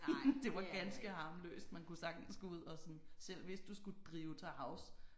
Det var ganske harmløst man kunne sagtens gå ud og sådan selv hvis du skulle drive til havs